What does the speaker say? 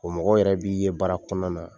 O mɔgɔw yɛrɛ b'i ye baara kɔnɔna na.